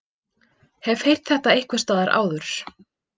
Hef heyrt þetta einhversstaðar áður.